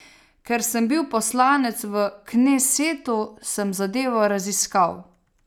Ker sem bil poslanec v knesetu, sem zadevo raziskal.